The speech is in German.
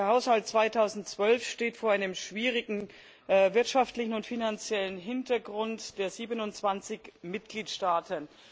Der Haushalt 2012 steht vor einem schwierigen wirtschaftlichen und finanziellen Hintergrund der 27 Mitgliedstaaten.